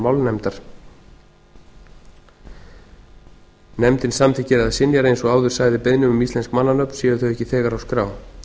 málnefndar nefndin samþykkir eða synjar eins og áður sagði beiðnum um íslensk mannanöfn séu þau ekki þegar á skrá